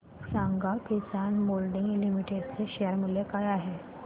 सांगा Kisan moulding limited चे share मूल्य काय आहे